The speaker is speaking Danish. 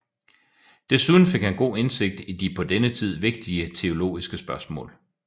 Desuden fik han god indsigt i de på denne tid vigtige teologiske spørgsmål